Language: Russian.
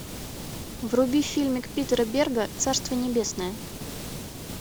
вруби фильмик питера берга царство небесное